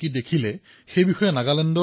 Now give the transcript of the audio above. আপুনি তেওঁলোকক জনায় নে